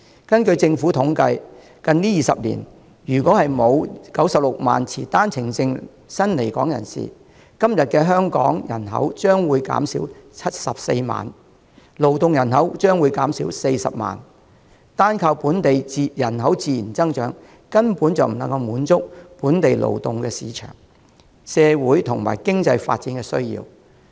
根據政府統計，近20年如果沒有96萬持單程證的新來港人士，今天的香港人口將會減少74萬，勞動人口將會減少40萬，單靠本地人口自然增長根本不能滿足本地勞動市場，以及社會、經濟發展的需要。